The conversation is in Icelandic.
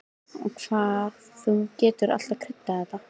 Og hvað þú getur alltaf kryddað þetta!